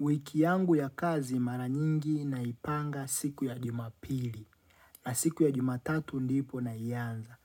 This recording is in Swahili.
Wikiyangu ya kazi mara nyingi naipanga siku ya jumapili na siku ya jumatatu ndipo nayanza.